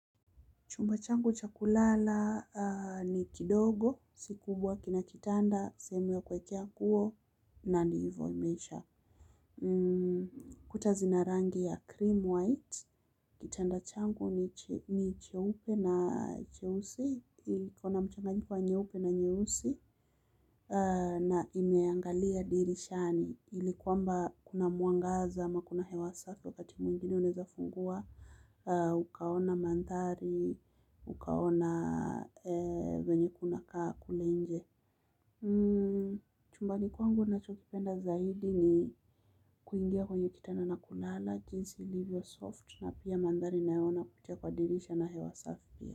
Chumba changu cha kulala ni kidogo, si kubwa, kina kitanda, sehemu ya kuwekea nguo, na ni hivyo imeisha. Kuta zina rangi ya cream white, kitanda changu ni cheupe na cheusi, kikona mchanganyiko wa nyeupe na nyeusi, na imeangalia dirishani. Ili kwamba kuna mwangaza ama kuna hewa safi, wakati mwingine unaweza fungua, ukaona mandhari, ukaona vile kunavyokaa kule nje. Chumbani kwangu ninachokipenda zaidi ni kuingia kwenye kitanda na kulala, jinsi ilivyo laini na pia mandhari ninayoyaona kupitia dirishani na hewa safi.